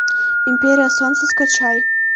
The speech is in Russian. империя солнца скачай